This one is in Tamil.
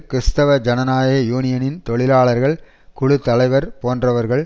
கிறிஸ்தவ ஜனநாயக யூனியனின் தொழிலாளர்கள் குழு தலைவர் போன்றவர்கள்